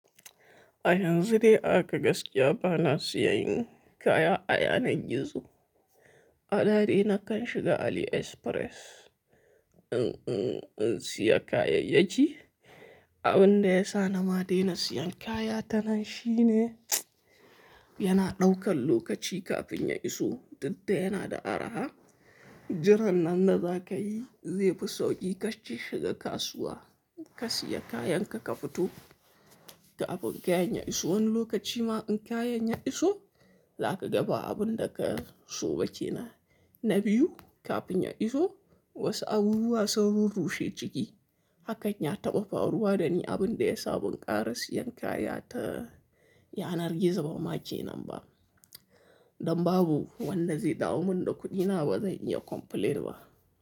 A yanzu dai ahaka gaskiya bana siyan kaya a yanar gizo. A da dai na kan shiga AliExpress in, in, in siya kayayyaki. Abin da ya sa na ma daina siyan kaya ta nan shine yana ɗaukan lokaci kafin ya iso, dukda yana da araha. Jiran nan da za ka yi zai fi sauƙi ka shiga kasuwa ka siya kayanka ka fito. Ga aɓun ka yanya iso wani lokaci ma in kayan ya iso, za ka ga ba abin da ka so ba ke nan. Na biyu kafin ya iso wasu abubuwa sun rurrushe jiki. Hakan ya taɓa faruwa da ni abin da ya sa ban ƙara siyan kaya ta yanar gizo ba ma ke nan ba. Dan babu wanda zai dawo min da kuɗina ba, zan iya complain ba.